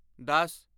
ਦਸ